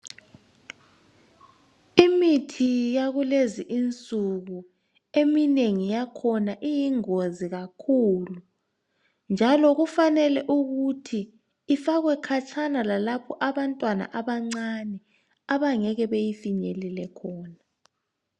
Imithi yakulezi insuku eminengi yakhona iyingozi kakhulu njalo kufanele ukuthi ifakwe khatshana, lalapho abantwana abancane abangeke bayifinyelele khona.